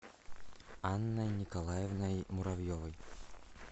анной николаевной муравьевой